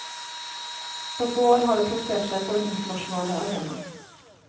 På få år har det plassert seg på den internasjonale arena.